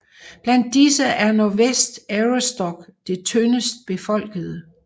Blandt disse er Northwest Aroostook det tyndest befolkede